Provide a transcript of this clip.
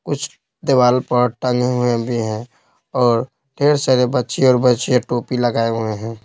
कुछ दीवार पर टंगे हुए भी हैं और ढेर सारे बच्चे और बच्चे टोपी लगाये हुए हैं।